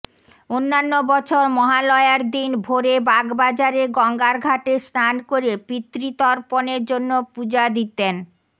অন্যান্য বছর মহালয়ার দিন ভোরে বাগবাজারে গঙ্গার ঘাটে স্নান করে পিতৃতর্পণের জন্য পুজো দিতেন